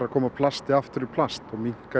koma plasti aftur í plast og minnka